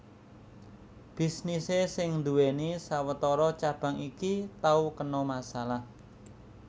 Bisnisé sing nduwèni sawetara cabang iki tau kena masalah